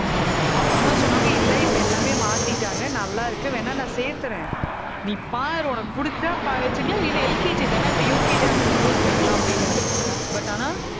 அப்புறம்தான் சொன்னாங்க, இல்லை, இப்ப எல்லாமே மாத்திட்டாங்க, நல்லா இருக்கு, வேணா நான் சேர்த்தறேன். நீ பாரு, உனக்கு புடிச்சா ப~ வச்சுக்கலாம் இல்லைன்னா LKG தானே இப்ப UKG அடுத்த school போயிக்கலாம் அப்பிடின்னாரு but ஆனா